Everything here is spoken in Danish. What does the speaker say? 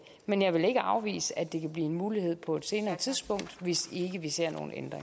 men jeg vil ikke afvise at det kan blive en mulighed på et senere tidspunkt hvis ikke vi ser